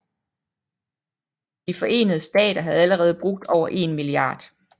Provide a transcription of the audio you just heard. De forenede Stater havde allerede brugt over 1 mia